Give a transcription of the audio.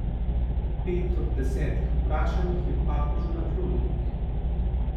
Pet od desetih vprašanih je papežu naklonjenih.